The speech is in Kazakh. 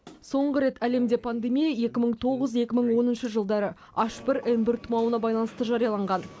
соңғы рет әлемде пандемия екі мың тоғыз екі мың оныншы жылдары аш бір эн бір тұмауына байланысты жарияланған